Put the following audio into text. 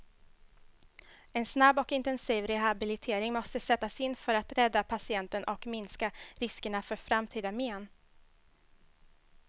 En snabb och intensiv rehabilitering måste sättas in för att rädda patienten och minska riskerna för framtida men.